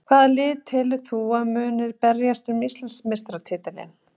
Hvaða lið telur þú að muni berjast um Íslandsmeistaratitilinn?